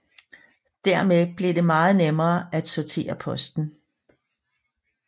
Dermed blev det meget nemmere at sortere posten